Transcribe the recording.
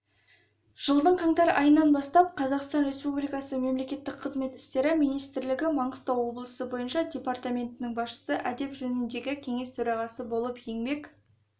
жылдың қаңтар айынан бастап қазақстан республикасы мемлекеттік қызмет істері министрлігі маңғыстау облысы бойынша департаментінің басшысы әдеп жөніндегі кеңес төрағасы болып еңбек